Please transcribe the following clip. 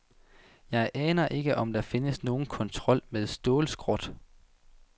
Jeg aner ikke, om der findes nogen kontrol med stålskrot.